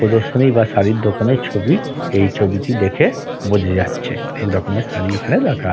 প্রদর্শনী বা শাড়ীর দোকানের ছবি এই ছবিটি দেখে-এ বোঝা যাচ্ছে এইরকমের শাড়ী এখানে রাখা।